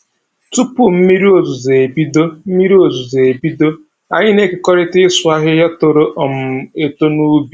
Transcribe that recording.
Tupu mmiri ozuzu ebido, mmiri ozuzu ebido, anyị na-ekerikọta ịsụ ahịhịa toro um eto n'ubi